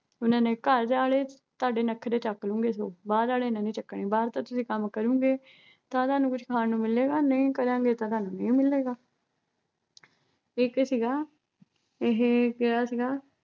ਉਹਨਾਂ ਨੇ ਘਰਵਾਲੇ ਤੁਹਾਡੇ ਨਖਰੇ ਚੱਕ ਲੂ ਗੇ ਸੂ ਬਾਹਰ ਆਲੇ ਨੇ ਨੀ ਚੱਕਣੇ ਬਾਹਰ ਤੇ ਤੁਸੀਂ ਕੰਮ ਕਰੋਗੇ ਤਾ, ਤਾਂ ਤੁਹਾਨੂੰ ਕੁਝ ਖਾਣ ਨੂੰ ਮਿਲੇਗਾ ਨਹੀਂ ਕਰਨਗੇ ਤਾਂ ਤੁਹਨੂੰ ਨਹੀਂ ਮਿਲੇਗਾ। ਇੱਕ ਸੀਗਾ, ਇਹੇ ਕਿਹਾ ਸੀਗਾ